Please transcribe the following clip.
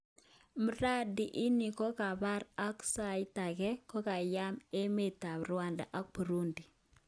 mradi ini kokaparan ak saitange koyamaa emt ap Rwanda ak Burundi.